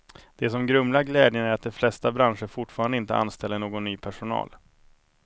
Det som grumlar glädjen är att de flesta branscher fortfarande inte anställer någon ny personal.